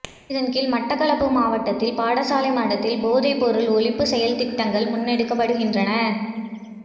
இதன்கீழ் மட்டக்களப்பு மாவட்டத்தில் பாடசாலை மட்டத்தில் போதைப்பொருள் ஒழிப்பு செயல்திட்டங்கள் முன்னெடுக்கப்படுகின்றன